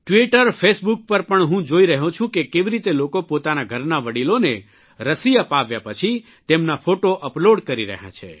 Twitter Facebook પર પણ હું જોઇ રહ્યો છું કે કેવી રીતે લોકો પોતાના ઘરનાં વડિલોને રસી અપાવ્યા પછી તેમના ફોટો અપલોડ કરી રહ્યાં છે